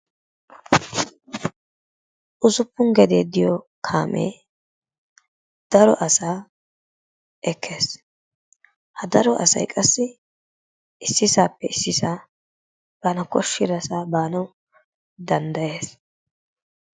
Usuppun gedee diyo kaamee daro asaa ekkees. ha daro asay qassi issisaappe issisaa bana koshidasaa baanawu danddayees.